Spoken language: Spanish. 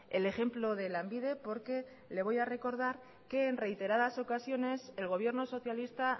el ejemplo de lanbide porque le voy a recordar que en reiteradas ocasiones el gobierno socialista